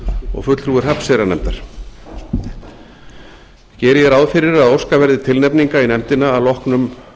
og fulltrúi hrafnseyrarnefndar geri ég ráð fyrir að óskað verði tilnefninga í nefndina að loknum